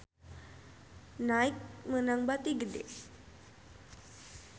Nike meunang bati gede